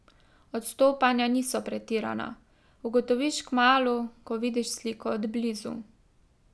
Odstopanja niso pretirana, ugotoviš kmalu, ko vidiš sliko od blizu.